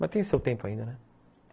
Mas tem o seu tempo ainda, né?